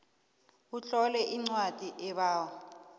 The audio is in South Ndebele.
utlole incwadi ebawa